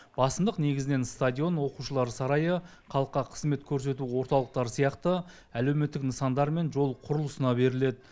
басымдық негізінен стадион оқушылар сарайы халыққа қызмет көрсету орталықтары сияқты әлеуметтік нысандар мен жол құрылысына беріледі